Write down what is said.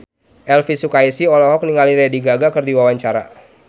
Elvi Sukaesih olohok ningali Lady Gaga keur diwawancara